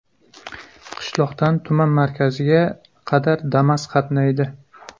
Qishloqdan tuman markaziga qadar Damas qatnaydi.